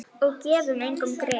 Og gefum engum grið.